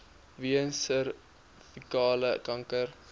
weens servikale kanker